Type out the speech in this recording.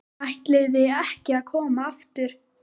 ÆTLIÐI EKKI AÐ KOMA AFTUR.